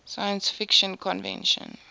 science fiction convention